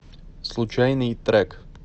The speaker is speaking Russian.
случайный трек